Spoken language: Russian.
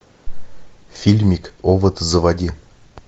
фильмик овод заводи